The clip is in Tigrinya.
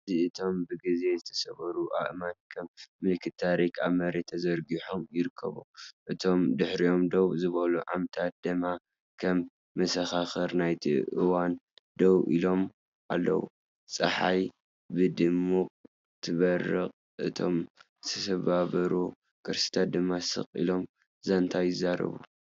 እዚ እቶም ብግዜ ዝተሰብሩ ኣእማን ከም ምልክት ታሪኽ ኣብ መሬት ተዘርጊሖም ይርከቡ፡ እቶም ድሒሮም ደው ዝበሉ ዓምድታት ድማ ከም መሰኻኽር ናይቲ እዋን ደው ኢሎም ኣለው። ጸሓይ ብድሙቕ ትበርቕ፡ እቶም ዝተሰብሩ ቅርስታት ድማ ስቕ ኢሎም ዛንታ ይዛረቡ።